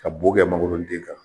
Ka bo kɛ mangoron den kan